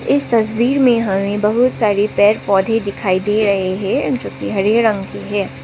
इस तस्वीर मे हमे बहुत सारे पेड़ पौधे दिखाई दे रहे हैं जोकि हरे रंग के हैं।